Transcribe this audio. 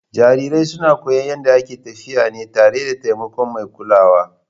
Jarirai suna koyon yadda ake tafiya tare da taimakon mai kulawa.